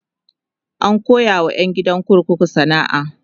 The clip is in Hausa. an koya wa ƴan gidan kurkukun sana'a